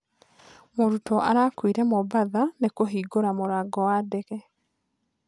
Mũrutwo arakuire Mombatha nĩ 'kũhingũra mũrango wa ndege.'